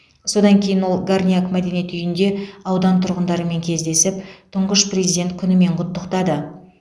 содан кейін ол горняк мәдениет үйінде аудан тұрғындарымен кездесіп тұңғыш президент күнімен құттықтады